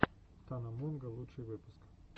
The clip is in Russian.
тана монго лучший выпуск